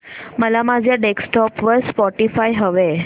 मला माझ्या डेस्कटॉप वर स्पॉटीफाय हवंय